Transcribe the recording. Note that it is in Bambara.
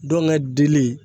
Dɔngɛ dili